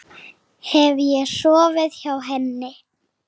Hef ég sofið hjá henni?